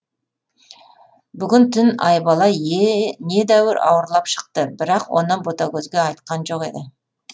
бүгін түн айбала недәуір ауырлап шықты бірақ оны ботагөзге айтқан жоқ еді